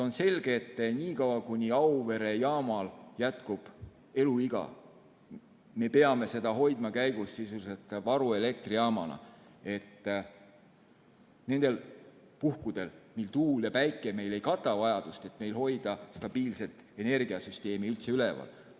On selge, et niikaua, kuni Auvere jaamal jätkub eluiga, me peame seda hoidma käigus sisuliselt varuelektrijaamana, et nendel puhkudel, mil tuul ja päike ei kata vajadust, hoida stabiilset energiasüsteemi üldse üleval.